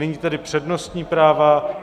Nyní tedy přednostní práva.